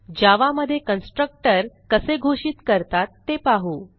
जावा मध्ये कन्स्ट्रक्टर कसे घोषित करतात ते पाहू